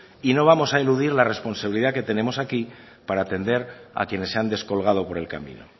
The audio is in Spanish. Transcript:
y no vamos a eludir la responsabilidad que tenemos aquí para atender a quienes se han descolgado por el camino